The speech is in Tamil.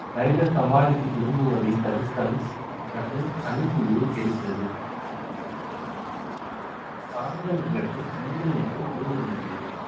side அ சமாளித்து திரும்புவதைத் தடுத்தல் மற்றும் அணி புள்ளியை தெரிகிறது ஆண்கள் நிகழ்வு பெண்கள் நிகழ்வு junior நிகழ்வு